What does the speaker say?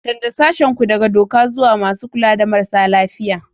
Canza sashen ku daga doka zuwa masu kula da marasa lafiya.